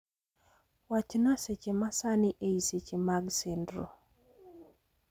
Wachna seche masani ei seche mag sendro